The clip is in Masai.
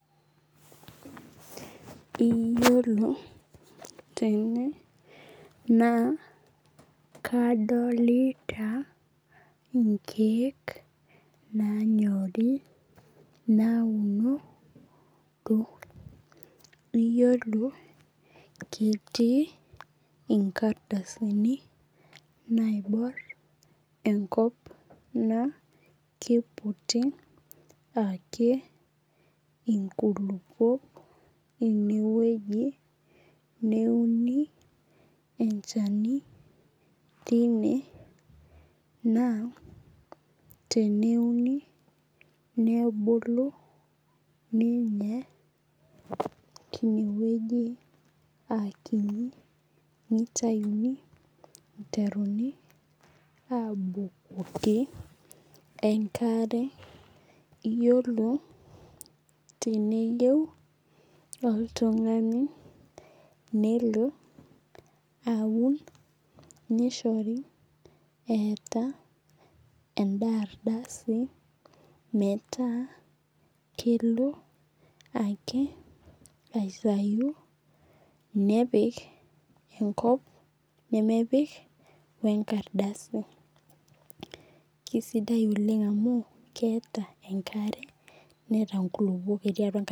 Iyiolo tene naa kadolita inkeek nanyorii nauno to iyiolo inkiti kardasi naibor enkop naa kiputi ake inkulupuok eneweji neuoni enchani tine naa teneuni nebuku ninye tineweji aa kini nitayuni iteruni abukoki enkare. Iyiolo teneyou oltung'ani nelo aun nishore eetaa eda ardasi meeta kelo ake aitayu nepik enkop nemepik wee nkardasi. Keisidai oleng' amu keeta enkare neeta inkulupuok etii atua enkare.